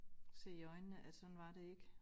Se i øjnene at sådan var det ikke